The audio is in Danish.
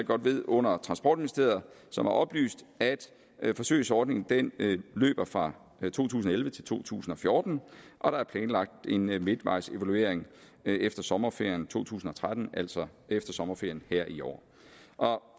godt ved under transportministeriet som har oplyst at at forsøgsordningen løber fra to tusind og elleve til to tusind og fjorten og der er planlagt en midtvejsevaluering efter sommerferien to tusind og tretten altså efter sommerferien her i år